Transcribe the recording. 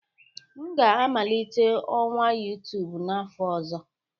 M ga-amalite ọwa YouTube n'afọ ọzọ